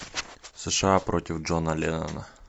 сша против джона леннона